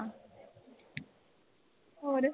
ਹੋਰ